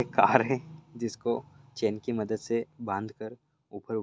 एक कार है जिसकों चैन की मदत से बांध कर उपर उ--